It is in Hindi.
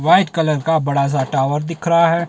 व्हाइट कलर का बड़ा सा टावर दिख रहा है।